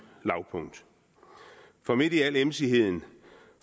lavpunkt for midt i al emsigheden